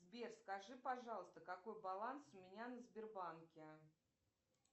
сбер скажи пожалуйста какой баланс у меня на сбербанке